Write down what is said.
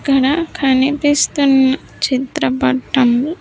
ఇక్కడ కనిపిస్తున్న చిత్రపటం--